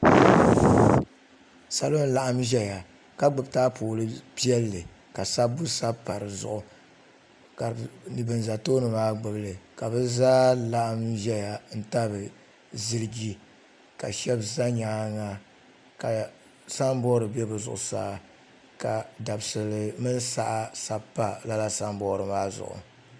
Salo n laɣim zaya ka gbibi anfooni piɛlli ka sabbu sabi p di zuɣu ka ban za tooni maa gbibi li bɛ zaa laɣim zaya n tabi ziliji ka sheba za nyaanga ka samboori za bɛ zuɣusaa ka dabsili 9mini saha sabi pa lala samboori maa zuɣu.